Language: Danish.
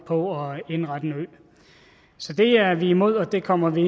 på at indrette en ø så det er vi imod og det kommer vi